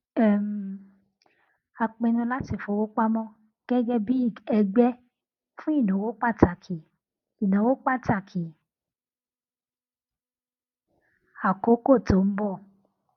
um a pinnu láti fi owó pamọ gégé bí ẹgbé fún ìnáwó pàtàkì ìnáwó pàtàkì àkókó tó n bọ